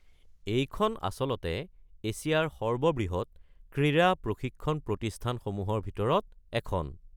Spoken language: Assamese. এইখন আচলতে এছিয়াৰ সৰ্ববৃহৎ ক্ৰীড়া প্ৰশিক্ষণ প্ৰতিস্থানসমূহৰ ভিতৰত এখন।